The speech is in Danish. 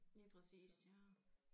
Lige præcist ja